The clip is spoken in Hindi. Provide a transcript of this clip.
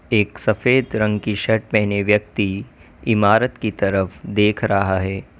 एक सफेद रंग की शर्ट पहने व्यक्ति इमारत की तरफ देख रहा है।